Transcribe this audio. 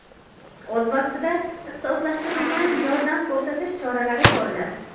O‘z vaqtida ixtisoslashtirilgan yordam ko‘rsatish choralari ko‘riladi.